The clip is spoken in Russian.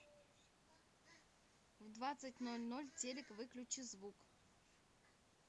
в двадцать ноль ноль телик выключи звук